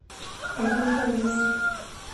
андрюша ивлиев